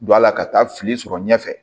Don a la ka taa fili sɔrɔ ɲɛfɛ